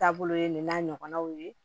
Taabolo ye nin n'a ɲɔgɔnnaw ye